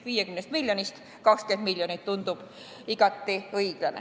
50 miljonist 20 miljonit tundub igati õiglane.